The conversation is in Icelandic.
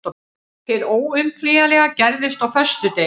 Hið óumflýjanlega gerðist á föstudegi.